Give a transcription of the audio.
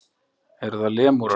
Eru það lemúrar?